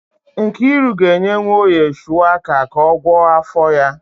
Nkiru ga-enye Nwoye shuwaka ka ọ gwọọ afọ ya